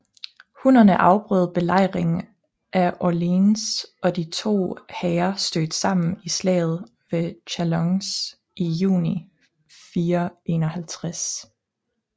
Hunnerne afbrød belejringen af Orléans og de to hære stødte sammen i slaget ved Chalons i juni 451